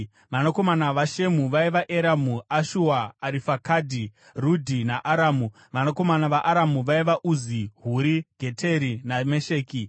Vanakomana vaShemu vaiva: Eramu, Ashua, Arifakisadhi, Rudhi naAramu. Vanakomana vaAramu vaiva: Uzi, Huri, Geteri naMesheki.